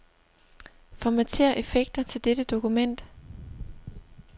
Formatér effekter til dette dokument.